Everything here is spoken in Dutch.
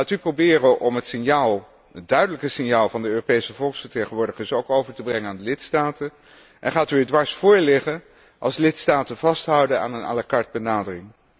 Gaat u proberen om het duidelijke signaal van de Europese volksvertegenwoordigers ook over te brengen aan de lidstaten en gaat u er dwars vóór liggen, als lidstaten vasthouden aan een à la carte benadering?